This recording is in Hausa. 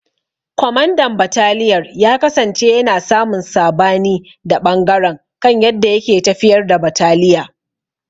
Kwamandan bataliyar ya kasance yana samun sabani da ɓangaren kan yadda yake tafiyar da bataliya.